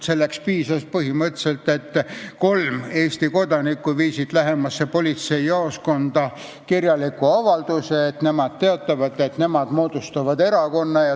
Selleks piisas põhimõtteliselt sellest, et kolm Eesti kodanikku viisid lähemasse politseijaoskonda kirjaliku avalduse, milles nad teatasid, et nemad moodustavad erakonna.